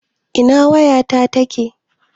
Ina wayata take?